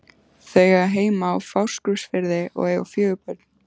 Þau eiga heima á Fáskrúðsfirði og eiga fjögur börn.